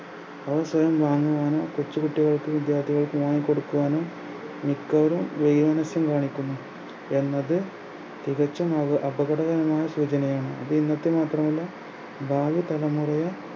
കൊച്ചുകുട്ടികൾക്കും വിദ്യാർത്ഥികൾക്കും വാങ്ങിക്കൊടുക്കുവാനും മിക്കവരും നസ്യം കാണിക്കുന്നു എന്നത് തികച്ചും ഒര് അപകടകരമായ സൂചനയാണ് അത് നിങ്ങൾക്ക് മാത്രമല്ല ഭാവി തലമുറയെ